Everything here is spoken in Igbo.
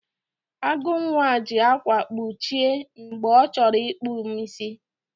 Agụnwa ji ákwà kpuchie m mgbe ọ chọrọ ịkpụ m isi.